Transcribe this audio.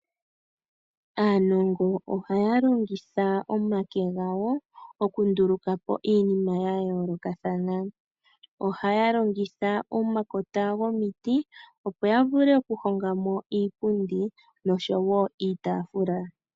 Aanongo ohaya longitha omake gawo okunduluka po iinima yayoolokathana, ohaya longitha omakota gomiti opo yavule okuhonga mo iipundi nosho wo iitafula.